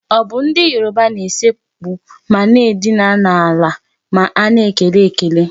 Ọ bụ ndị Yoruba na-esekpu ma na-edina ala ma a na-ekele ekele?